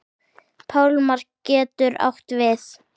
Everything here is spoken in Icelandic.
Pálmar getur átt við